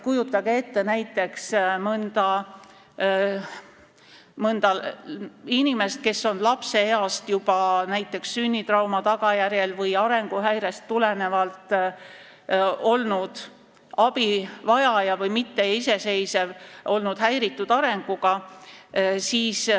Kujutage ette näiteks mõnda inimest, kes on juba lapseeast näiteks sünnitrauma tagajärjel või arenguhäirest tulenevalt olnud abivajaja või mitteiseseisev, olnud häiritud arenguga.